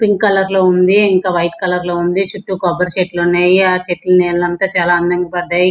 Pink colour లో ఉంది. ఇంక వైట్ కలర్ లో ఉంది. చుట్టూ కొబ్బరి చెట్లు ఉన్నాయి. ఆ చెట్లు నీడ అంత చాలా అందం గా పడ్డాయి.